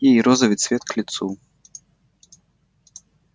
ей розовый цвет к лицу